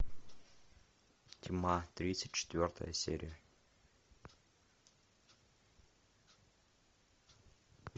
тьма тридцать четвертая серия